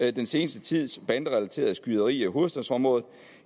den seneste tids banderelaterede skyderier i hovedstadsområdet